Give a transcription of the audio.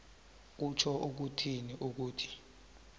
kutjho ukuthini ukuthi